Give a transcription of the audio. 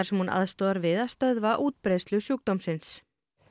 sem hún aðstoðar við að stöðva útbreiðslu sjúkdómsins